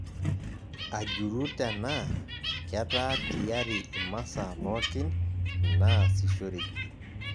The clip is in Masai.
Ajuru tenaa ketaa tiyari imasaa pookin naasishoreki